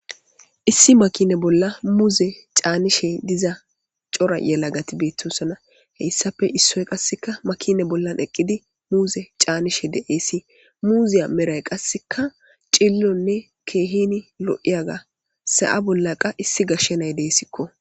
Issi makine bolla muuze caanishe diza cora yelagati beettunsona heyssafe issoy qasseka makine bollan eqqidi muuze caanishe de'eesi muuziya meray qasseka cillonne keehini lo'iyaga sa'a bolla qa issi gashshenay deessikko.